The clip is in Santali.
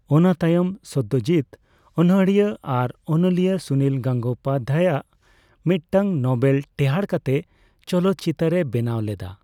ᱚᱱᱟᱛᱟᱭᱚᱢ ᱥᱚᱛᱚᱡᱤᱛ ᱚᱱᱚᱲᱦᱤᱭᱟᱹ ᱟᱨ ᱚᱱᱚᱞᱤᱭᱟᱹ ᱥᱩᱱᱤᱞ ᱜᱚᱝᱜᱳᱯᱟᱫᱷᱟᱭ ᱟᱜ ᱢᱤᱫᱴᱟᱝ ᱱᱚᱵᱮᱞ ᱴᱮᱸᱦᱟᱰ ᱠᱟᱛᱮ ᱪᱚᱞᱚᱠ ᱪᱤᱛᱟᱹᱨᱮ ᱵᱮᱱᱟᱣ ᱞᱟᱫᱟ᱾